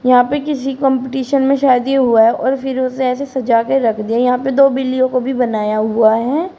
यहां पे किसी कंपटीशन में शायद हुआ है और फिर उसे ऐसी सजा कर रख दिया यहां पर दो बिल्लियों को भी बनाया हुआ है।